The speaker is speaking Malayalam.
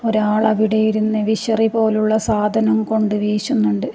ഒരാൾ അവിടെയിരുന്ന് വിശറിപോലുള്ള സാധനം കൊണ്ട് വീശുന്നുണ്ട്.